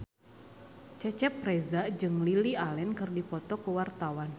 Cecep Reza jeung Lily Allen keur dipoto ku wartawan